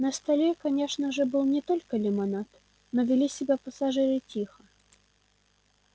на столе конечно же был не только лимонад но вели себя пассажиры тихо